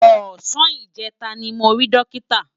Òsàn ijètá ni mó ri Dókitá